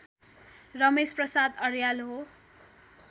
रमेश प्रसाद अर्याल हो